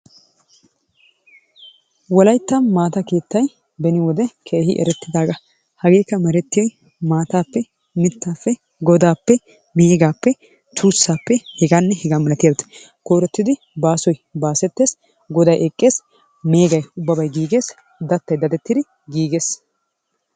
Wolayttan maata keettay beni wode keehi erettidaaga. Hageekka merettiyoy maataappe, mitaappe godaappe, meegaappe, tuusaappe, hegaanne hegaa malattiyaageeta, koyrottidi baasoy baasetes, goday eqees, meegay ubbabay giigees, gattay dadettidi giigees.